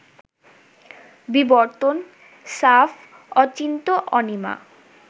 বিবর্তন, সাফ, অচিন্ত্য-অনিমা